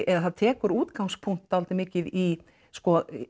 eða tekur útgangspunkt dálítið mikið í sko